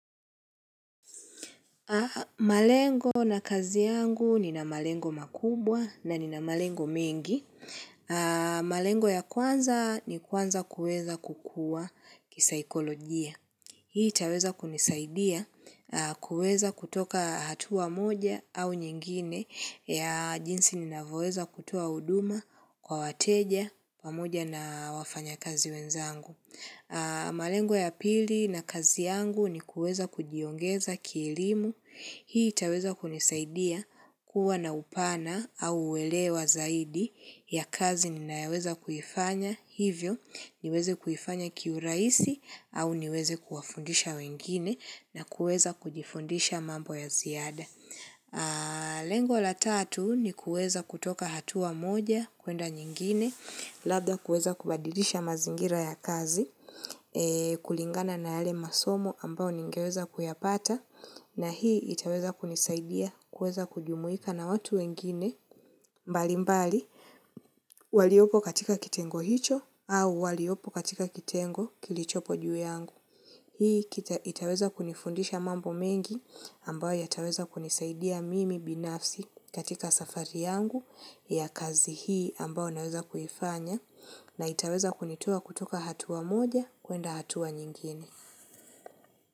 Malengo na kazi yangu nina malengo makubwa na nina malengo mengi. Malengo ya kwanza ni kuanza kuweza kukua kisaikolojia. Hii itaweza kunisaidia kuweza kutoka hatua moja au nyingine ya jinsi ninavyoweza kutoa huduma kwa wateja pamoja na wafanyakazi wenzangu. Malengo ya pili na kazi yangu ni kuweza kujiongeza kielimu, hii itaweza kunisaidia kuwa na upana au uelewa zaidi ya kazi ninayoweza kuifanya hivyo niweze kuifanya kiurahisi au niweze kuwafundisha wengine na kuweza kujifundisha mambo ya ziada. Lengo la tatu ni kuweza kutoka hatua moja kuenda nyingine Labda kuweza kubadilisha mazingira ya kazi kulingana na yale masomo ambayo ningeweza kuyapata na hii itaweza kunisaidia kuweza kujumuika na watu wengine mbali mbali, waliopo katika kitengo hicho au waliopo katika kitengo kilichopo juu yangu. Hii itaweza kunifundisha mambo mengi ambayo yataweza kunisaidia mimi binafsi katika safari yangu ya kazi hii ambayo naweza kufanya na itaweza kunitoa kutoka hatua moja kuenda hatua nyingine.